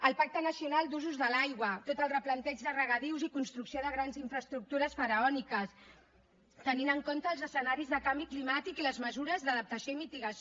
el pacte nacional d’usos de l’aigua tot el replanteig de regadius i construcció de grans infraestructures faraòniques tenint en compte els escenaris de canvi climàtic i les mesures d’adaptació i mitigació